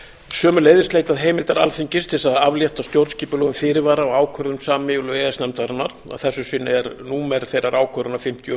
sömuleiðis leitað heimildar alþingis til þess að aflétta stjórnskipulegum fyrirvara á ákvörðun sameiginlegu e e s nefndarinnar að þessu sinni er númer þeirrar ákvörðunar fimmtíu og